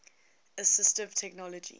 assistive technology